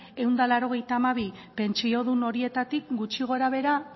ehun eta laurogeita hamabi mila pentsiodun horietatik gutxi gorabehera